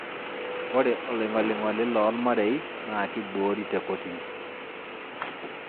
Ore oloing'oling'oli loormarei naa keboori te kotini